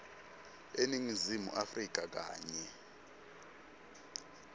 eningizimu afrika kanye